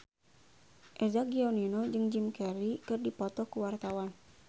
Eza Gionino jeung Jim Carey keur dipoto ku wartawan